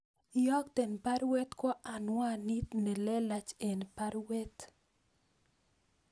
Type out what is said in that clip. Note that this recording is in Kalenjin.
Iyokte baruet kwo anwanit nelelach en baruet